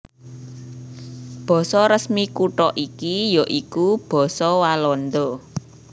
Basa resmi kutha iki ya iku basa Walanda